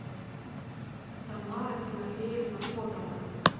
тамара тимофеевна котова